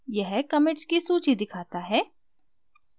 यह commits की सूची दिखाता है